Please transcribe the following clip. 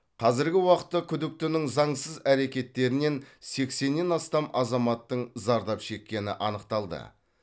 қазіргі уақытта күдіктінің заңсыз әрекеттерінен сексеннен астам азаматтың зардап шеккені анықталды